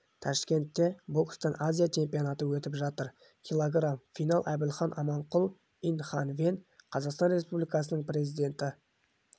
ташкентте бокстан азия чемпионаты өтіп жатыр кг финал әбілхан аманқұл инь хан вэнь қазақстан республикасының президенті